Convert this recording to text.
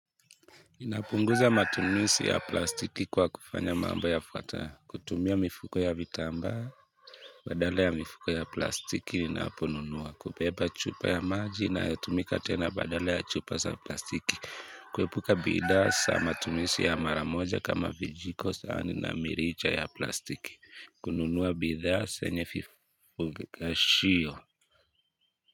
Napunguza matumizi ya plastiki kwa kufanya mambo yafuatayo kutumia mifuko ya vitambaa Badala ya mifuko ya plastiki ninaponunua kubeba chupa ya maji na inayotumika tena badala ya chupa za plastiki kuepuka bidhaa za matumizi ya mara moja kama vijiko sahani na mirija ya plastiki kununua bidhaa zenye vikashio.